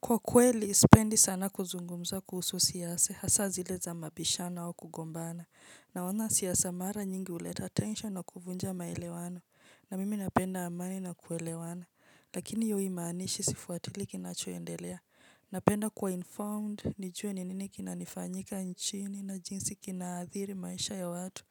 Kwa kweli sipendi sana kuzungumza kuhusu siasa, hasa zile za mabishano au kugombana. Naona siasa mara nyingi huleta tension na kuvunja maelewano, na mimi napenda amani na kuelewana. Lakini hiyo haimaanishi sifuatilii kinachoendelea. Napenda kuwa informed, nijue ni nini kina nifanyika nchini na jinsi kinaadhiri maisha ya watu.